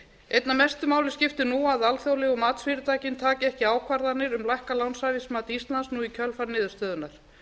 einna mestu máli skiptir nú að alþjóðlegu matsfyrirtækin taki ekki ákvarðanir um lækkað lánshæfismats íslands nú í kjölfar niðurstöðunnar